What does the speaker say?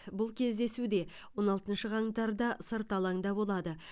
бұл кездесу де он алтыншы қаңтарда сырт алаңда болады